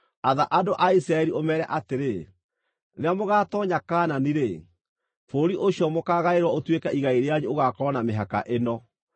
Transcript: “Atha andũ a Isiraeli, ũmeere atĩrĩ: ‘Rĩrĩa mũgaatoonya Kaanani-rĩ, bũrũri ũcio mũkaagaĩrwo ũtuĩke igai rĩanyu ũgaakorwo na mĩhaka ĩno: